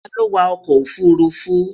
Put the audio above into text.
Ta lo wa oko ofurufu?